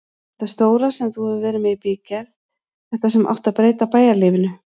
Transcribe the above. Þetta stóra sem þú hefur verið með í bígerð, þetta sem átti að breyta bæjarlífinu.